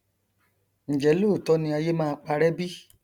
njẹ lóòótọ ni ayé máa parẹ bí